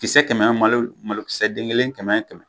Kisɛ kɛmɛ malo malokisɛ den kelen kɛmɛ kɛmɛ